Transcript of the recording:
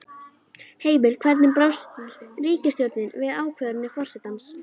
Heimir, hvernig brást ríkisstjórnin við ákvörðun forsetans?